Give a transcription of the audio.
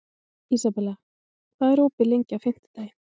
Ísabella, hvað er opið lengi á fimmtudaginn?